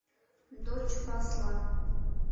дочь посла